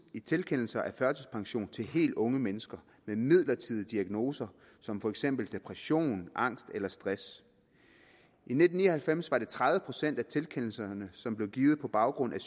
i tilkendelser af førtidspension til de helt unge mennesker med midlertidige diagnoser som for eksempel depression angst eller stress i nitten ni og halvfems var det tredive procent af tilkendelserne som blev givet på baggrund af